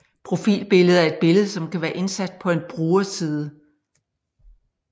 Profilbillede er et billede som kan være indsat på en brugerside